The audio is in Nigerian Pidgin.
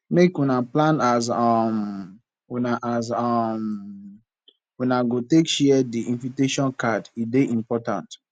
make una plan as um una as um una go take share di invitation card e dey important